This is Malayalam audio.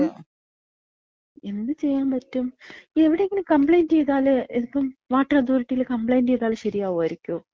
മ്. എന്ത് ചെയ്യാമ്പറ്റും. ഇതെവിടെയെങ്കിലും കംപ്ലയിന്‍റ് ചെയ്താല്, ഇതിപ്പം വാട്ടർ അതോറിറ്റില് കംപ്ലെയ്ന്‍റ് ചെയ്താല് ശര്യാവായിരിക്കോ?